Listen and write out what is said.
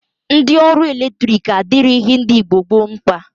Ndi ọrụ eletrik adirighi Igbo gboo mkpa.